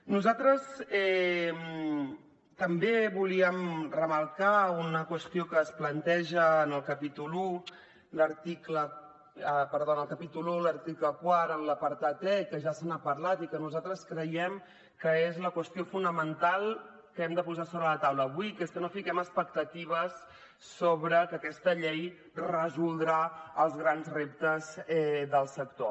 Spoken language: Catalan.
nosaltres també volíem remarcar una qüestió que es planteja en el capítol un l’article quart en l’apartat e que ja se n’ha parlat i que nosaltres creiem que és la qüestió fonamental que hem de posar sobre la taula avui que és que no fiquem expectatives sobre que aquesta llei resoldrà els grans reptes del sector